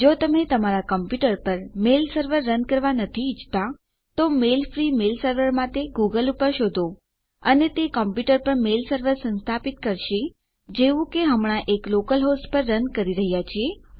જો તમે તમારા કમપ્યુટર પર મેલ સર્વર રન કરવા નથી ઈચ્છતા તો મેલ ફ્રી મેલ સર્વર માટે ગૂગલ પર શોધો અને તે તમારા કમપ્યુટર પર મેલ સર્વર સંસ્થાપિત કરશે જેવું કે આપણે હમણાં એક લોકલ હોસ્ટ પર રન કરી રહ્યા છીએ